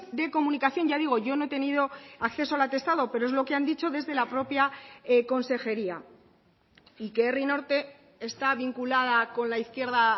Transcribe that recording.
de comunicación ya digo yo no he tenido acceso al atestado pero es lo que han dicho desde la propia consejería y que herri norte está vinculada con la izquierda